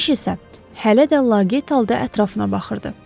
Keşiş isə hələ də laqeyd halda ətrafına baxırdı.